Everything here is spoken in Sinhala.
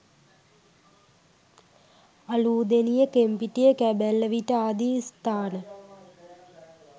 අලූදෙණිය කෙම්පිටිය කැබැල්ලවිට ආදී ස්ථාන